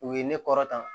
U ye ne kɔrɔtan